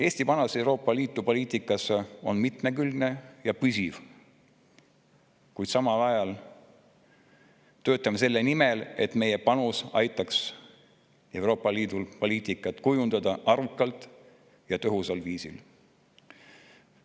Eesti panus Euroopa Liidu poliitikasse on mitmekülgne ja püsiv ning samal ajal töötame me selle nimel, et meie panus aitaks Euroopa Liidul poliitikat kujundada arukalt ja tõhusal viisil.